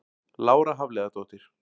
Lára Hafliðadóttir